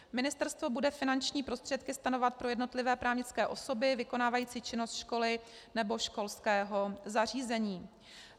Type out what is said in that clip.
Ministerstvo bude finanční prostředky stanovovat pro jednotlivé právnické osoby vykonávající činnost školy nebo školského zařízení.